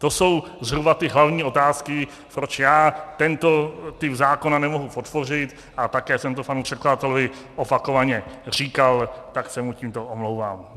To jsou zhruba ty hlavní otázky, proč já tento typ zákona nemohu podpořit, a také jsem to panu předkladateli opakovaně říkal, tak se mu tímto omlouvám.